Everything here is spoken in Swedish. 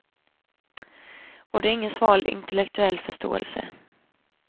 Och det är ingen sval intellektuell förståelse.